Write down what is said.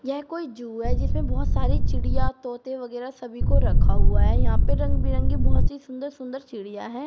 यह कोई जू है जिसमें बहुत सारी चिड़िया तोता वगैरह सभी को रखा हुआ है यहां पर रंग बिरंगी बहुत ही सुंदर सुंदर चिड़िया है।